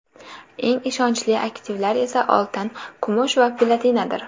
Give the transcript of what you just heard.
Eng ishonchli aktivlar esa oltin, kumush va platinadir.